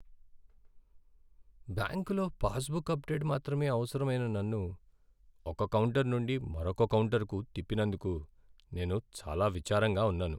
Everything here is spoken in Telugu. బ్యాంకులో పాస్‌‌బుక్‌ అప్డేట్ మాత్రమే అవసరమైన నన్ను ఒక కౌంటర్ నుండి మరొక కౌంటర్‌కు తిప్పినందుకు నేను చాలా విచారంగా ఉన్నాను.